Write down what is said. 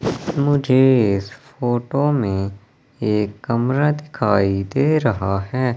मुझे इस फोटो में एक कमरा दिखाई दे रहा है।